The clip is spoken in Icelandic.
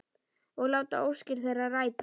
Og láta óskir þeirra rætast.